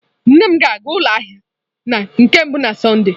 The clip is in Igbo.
Nne m ga-aga ụlọ ahịa na nke mbụ na Sọnde.